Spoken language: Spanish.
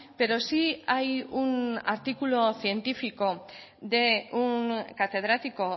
pero sí hay un artículo científico de un catedrático